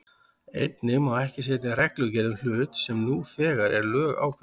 Einnig má ekki setja reglugerð um hlut sem nú þegar er lögákveðinn.